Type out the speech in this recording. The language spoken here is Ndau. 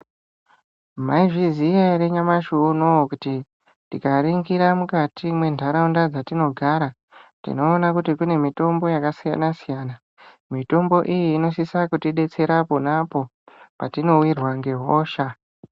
Maizviziya ere nyamashi unowu kuti, tikaringira mukati mwentharaunda dzatinogara, tinoona kuti kune mutombo yakasiyana-siyana? Mitombo iyi inosisa kutidetsera pona apo, patinowirwa ngehosha.